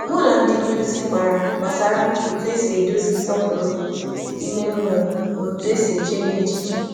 M gwakwàrà ndị na-akọzi m gbasàra otu esi edozi nsọpụrụ ime mmụọ na iche echiche nke ọma.